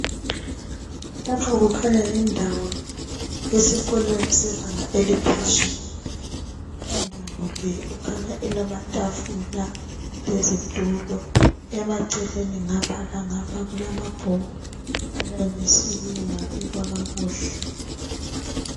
Lapha kukhanya yindawo yesikolweni sebanga eliphezulu. Indawo le ikhanya ilamatafula lezitulo, emaceleni ngapha langapha kulamabhuku alayinisiweyo abekwa kakuhle.